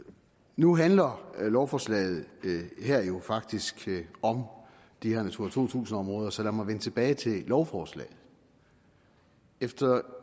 nu handler lovforslaget her faktisk om de her natura to tusind områder så lad mig vende tilbage til lovforslaget efter